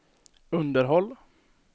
underhåll